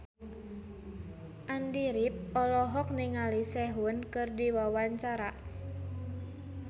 Andy rif olohok ningali Sehun keur diwawancara